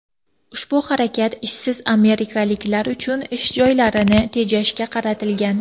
Ushbu harakat ishsiz amerikaliklar uchun ish joylarini tejashga qaratilgan.